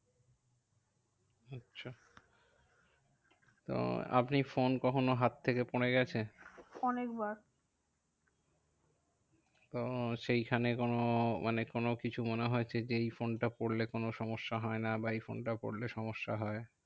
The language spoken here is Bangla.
তো আপনি ফোন কখনো হাত থেকে পরে গেছে? অনেকবার তো সেইখানে কোনো মানে কোনো কিছু মনে হয়েছে যে এই ফোনটা পড়লে কোনো সমস্যা হয় না? বা এই ফোনটা পড়লে সমস্যা হয়?